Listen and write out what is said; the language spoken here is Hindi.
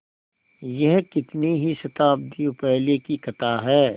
यह कितनी ही शताब्दियों पहले की कथा है